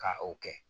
Ka o kɛ